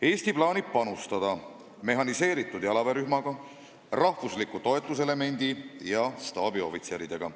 Eesti plaanib panustada mehhaniseeritud jalaväerühmaga, rahvusliku toetuselemendi ja staabiohvitseridega.